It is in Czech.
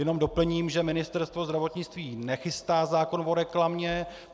Jenom doplním, že Ministerstvo zdravotnictví nechystá zákon o reklamě.